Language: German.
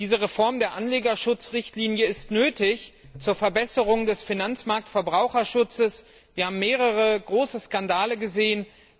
Diese Reform der Anlegerschutzrichtlinie ist zur Verbesserung des Finanzmarktverbraucherschutzes nötig. Wir haben mehrere große Skandale gesehen.